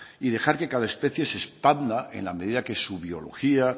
y dejar que cada especie se expanda en la medida que su biología